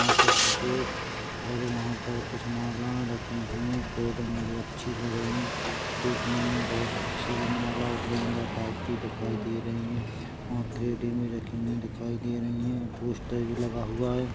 यहाँ पर सफेद और वहाँ पर कुछ माला रखी हुई हैं कर्रेंटें में जो अच्छी लग रही हैं देखने मे बहुत अच्छी माला वो गेंदा टाइप की दिखाई दे रही हैं वहाँ कर्रेंटें में रखी हुई दिखाई दे रही हैं पोस्टर भी लगा हुआ हैं।